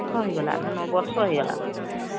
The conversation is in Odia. ହଁ ହେଇଗଲା ନ ୯ ବର୍ଷ ହେଇଗଲା ନହମ୍